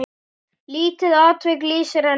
Lítið atvik lýsir henni vel.